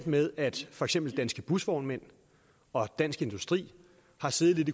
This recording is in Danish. med at for eksempel danske busvognmænd og dansk industri har siddet